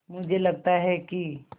मुझे लगता है कि